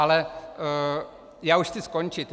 Ale já už chci skončit.